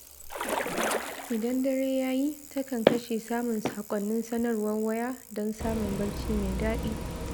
Idan dare ya yi, takan kashe samun saƙonnin sanarwar waya don samun barci mai daɗi.